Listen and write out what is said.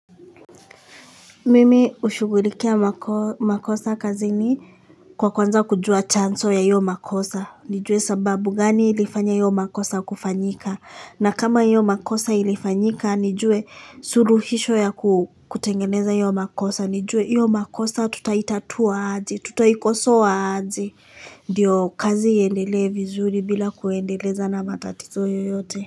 Mimi hushughulikia makosa kazini kwa kuanza kujua chanzo ya hiyo makosa, nijue sababu gani ilifanya hiyo makosa kufanyika, na kama hiyo makosa ilifanyika, nijue suruhisho ya kutengeneza hiyo makosa, nijue hiyo makosa tutaitatua aje tutaikosoa aje. Ndiyo kazi iendele vizuri bila kuendeleza na matatizo yoyote.